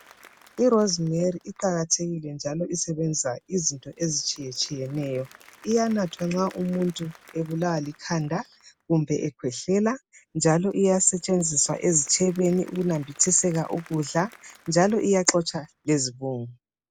Irosemari iqakathekile njalo isebenza into ezitshiyetshiyeneyo iyanathwa nxa umuntu ebulawa likhanda kumbe ekhwehlela njalo iyasetshenziswa ezitshebeni ukunambithiseka ukudla njalo iyaxotsha lezibobo.